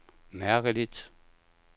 mærkeligt